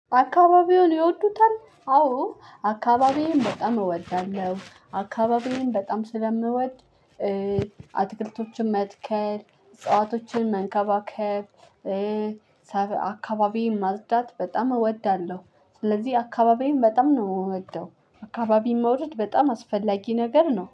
አካባቢዎን ይወዱታል? አዎ አካባቢዬን በጣም እወዳለሁ አካባቢዬን በጣም ስለምወድ። አትክልቶችን መትከል እጽዋቶችን መንከባከብ አካባቢ ማፅደት በጣም እወዳለሁ። ስለዚህ አካባቢዬን በጣም ነው የምወደው። አካባቢን መውደድ በጣም አስፈላጊ ነገር ነው